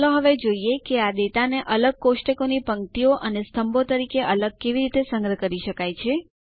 ચાલો હવે જોઈએ આ ડેટાને અલગ કોષ્ટકોની પંક્તિઓ અને સ્તંભો તરીકે અલગ કેવી રીતે સંગ્રહ કરી શકાય છે